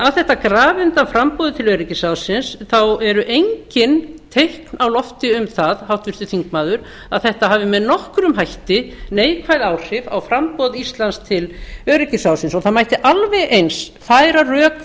að þetta grafi undan framboði til öryggisráðsins þá eru engin teikn á lofti um það háttvirtur þingmaður að þetta hafi með nokkrum hætti neikvæð áhrif á framboð íslands til öryggisráðsins og það mætti alveg eins færa rök